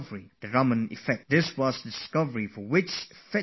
This was the discovery for which he received the Nobel Prize